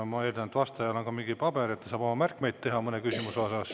Ma eeldan, et vastajal on ka mingi paber, et ta saab omale märkmeid teha mõne küsimuse puhul.